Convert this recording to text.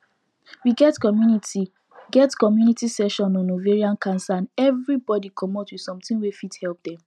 we get community get community session on ovarian cancer and everybody commot with something wey fit help dem